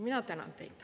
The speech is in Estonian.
Mina tänan teid.